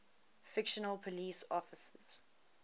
fictional police officers